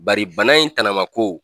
Bari bana in tamakow